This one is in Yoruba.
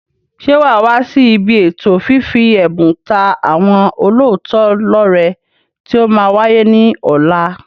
Ṣé waa wá sí ibi ètò fífi ẹ̀bùn ta àwọn olóòótọ́ lọ rẹ tí ó máa wáyé ní ọ̀la?